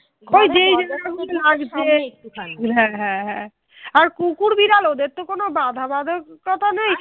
আর কুকুর বেড়াল ওদের তো কোনো বাঁধা বাধকতা তো নেই